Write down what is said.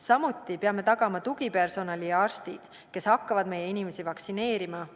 Samuti peame tagama tugipersonali ja arstid, kes hakkavad meie inimesi vaktsineerima.